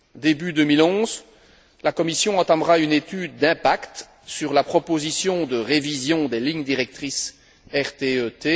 Début 2011, la Commission entamera une étude d'impact sur la proposition de révision des lignes directrices RTE T.